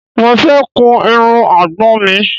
Mo fẹ́ kun irun àgbọ̀n mi